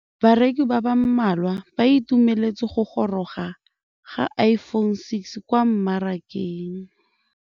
Bareki ba ba malwa ba ituemeletse go gôrôga ga Iphone6 kwa mmarakeng.